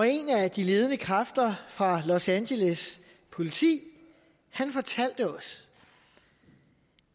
en af de ledende kræfter fra los angeles politi fortalte os